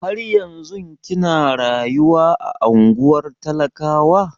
Har yanzun kina rayuwa a ungwar talakawa?